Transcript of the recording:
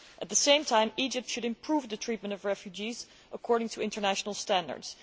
At the same time, Egypt should improve the treatment of refugees according to international standards.